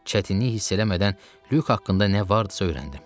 Çətinlik hiss eləmədən Lük haqqında nə vardısa öyrəndim.